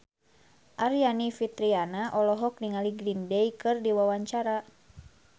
Aryani Fitriana olohok ningali Green Day keur diwawancara